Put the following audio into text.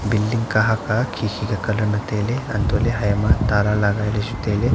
building colour khe khe ka colour ma tailey antoh ley he ma tala ley chu tai ley.